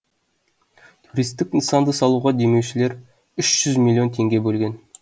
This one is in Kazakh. туристік нысанды салуға демеушілер үш жүз миллион теңге бөлген